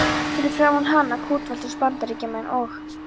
Fyrir framan hana kútveltust Bandaríkjamenn og